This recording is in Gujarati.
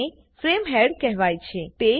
આને ફ્રેમ હેડ કહેવાય છે